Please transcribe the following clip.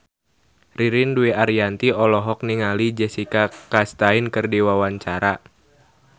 Ririn Dwi Ariyanti olohok ningali Jessica Chastain keur diwawancara